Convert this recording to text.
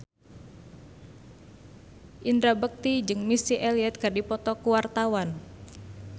Indra Bekti jeung Missy Elliott keur dipoto ku wartawan